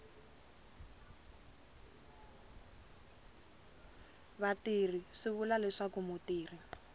vatirhi swi vula leswaku mutirhi